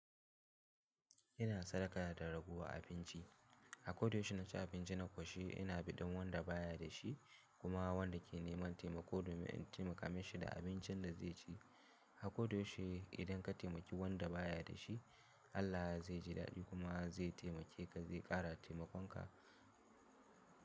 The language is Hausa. Ina sadaka da ragowa abinci. Akoda yaushe inna ci abinci na ƙoshi ina bi dan wanda baya da shi kuma wanda ke neman taimako domin in taimaka mashi da abincin da zai ci. Akoda yaushe idan ka taimaki wanda baya da shi Allah zai ji daɗi kuma zai taimake ka zai ƙara taimakon ka.